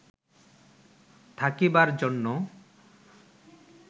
থাকিবার জন্য